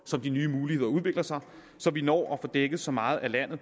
som de nye muligheder udvikler sig så vi når at få dækket så meget af landet